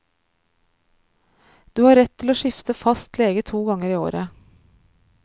Du har rett til å skifte fastlege to ganger i året.